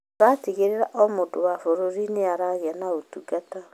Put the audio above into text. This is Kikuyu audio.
Tũratigĩrĩra o mũndũ wa bũrũri nĩ aragĩa ũtungata.